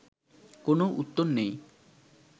কোনো উত্তর নেই